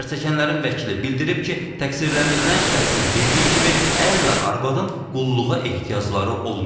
Zərərçəkənlərin vəkili bildirib ki, təqsirləndirilən şəxsin dediyi kimi ər ilə arvadın qulluğa ehtiyacları olmayıb.